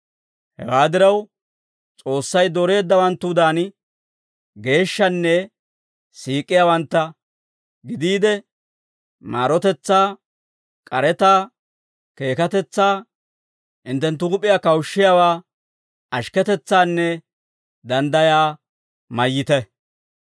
Hewaa diraw, S'oossay dooreeddawanttudan, geeshshanne siik'iyaawantta gidiide, maarotetsaa, k'aretaa, keekatetsaa, hinttenttu huup'iyaa kawushshiyaawaa, ashikketetsaanne danddayaa mayyite.